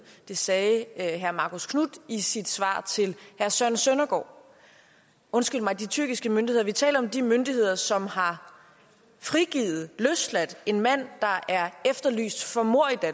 det sagde herre marcus knuth i sit svar til herre søren søndergaard undskyld mig de tyrkiske myndigheder vi taler om de myndigheder som har frigivet løsladt en mand der er efterlyst for